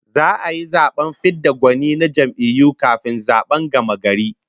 Za'a yi zaben fid da gwani na jam'iyyu kafin zaben gamagari